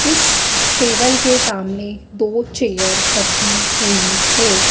इस टेबल के सामने दो चेयर रखी हुई है।